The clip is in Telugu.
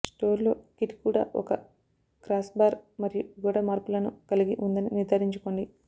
స్టోర్లో కిట్ కూడా ఒక క్రాస్బార్ మరియు గోడ మరల్పులను కలిగి ఉందని నిర్ధారించుకోండి